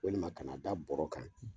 Walima a kana da bɔrɔ kan